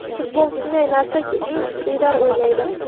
Futbol shunday narsaki eng kuchlilar o‘ynaydi.